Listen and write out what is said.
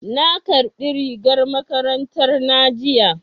Na ƙarbi rigar makarantar na jiya